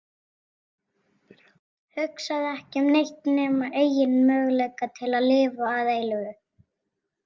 Hugsaði ekki um neitt nema eigin möguleika til að lifa að eilífu.